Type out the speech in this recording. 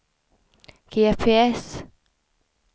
GPS